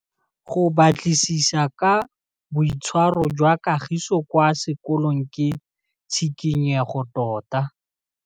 Go batlisisa ka boitshwaro jwa Kagiso kwa sekolong ke tshikinyêgô tota.